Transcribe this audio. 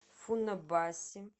фунабаси